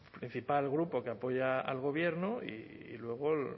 principal grupo que apoya al gobierno y luego el